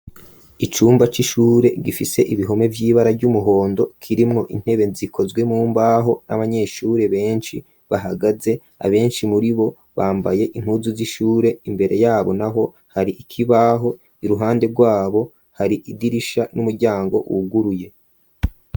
Icumba c'ishure gifise ibihome vy'ibara ry'umuhondo kirimwo intebe zikozwe mumbaho n'abanyeshure benshi bahagaze abenshi muribo bambaye impuzu z'ishure imbere yabo naho hari ikibaho iruhande rwabo hari idirisha n'umuryango wuguruye.